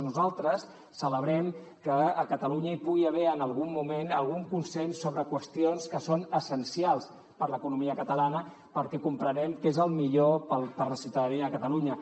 nosaltres celebrem que a catalunya hi pugui haver en algun moment algun consens sobre qüestions que són essencials per a l’economia catalana perquè comprenem que és el millor per la ciutadania de catalunya